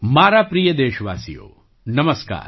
મારા પ્રિય દેશવાસીઓ નમસ્કાર